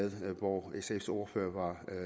og hvor sfs ordfører